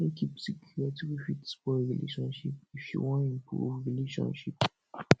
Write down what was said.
no keep wey fit spoil relationship if you wan improve relationship